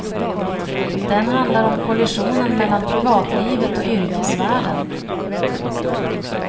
Den handlar om kollisionen mellan privatlivet och yrkesvärlden.